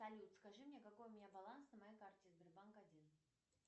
салют скажи мне какой у меня баланс на моей карте сбербанк один